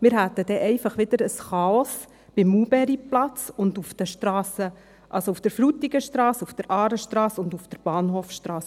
Wir hätten dann einfach wieder ein Chaos beim Maulbeerplatz und auf den Strassen, also auf der Frutigenstrasse, auf der Aarestrasse und auf der Bahnhofstrasse.